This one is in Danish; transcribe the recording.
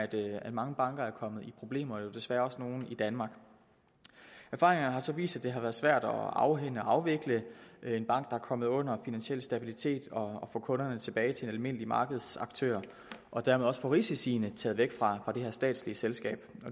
det at mange banker er kommet i problemer jo desværre også nogle i danmark erfaringerne har så vist at det har været svært at afhænde at afvikle en bank der er kommet under finansiel stabilitet og at få kunderne tilbage til de almindelige markedsaktører og dermed også få risiciene taget væk fra det her statslige selskab